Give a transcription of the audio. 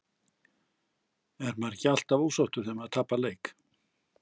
Er maður ekki alltaf ósáttur þegar maður tapar leik?